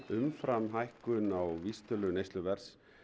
umfram hækkun á vísitölu neysluverðs